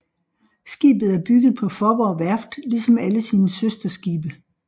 Skibet er bygget på Faaborg Værft ligesom alle sine søsterskibe